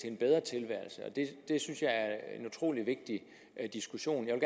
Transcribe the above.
en bedre tilværelse det synes jeg er en utrolig vigtig diskussion jeg